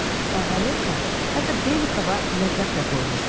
Kavalinka, hətta Belikova ləqəb də qoymuşdu.